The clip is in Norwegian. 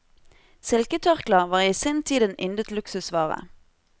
Silketørklær var i sin tid en yndet luksusvare.